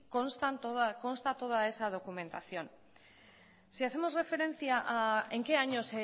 consta toda esa documentación si hacemos referencia a en qué año